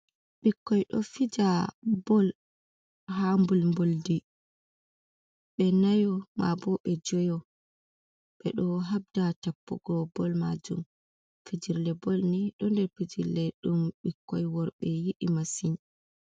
Ɓikkoi ɗo fija bol ha mbulmboldi ɓe nayo ma bo be joyo ɓe ɗo habda tappu go bol majum fijirle bol ni ɗo nder fijille ɗum ɓikkoi worbe yidi masin.